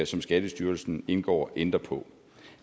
som skattestyrelsen indgår ændre på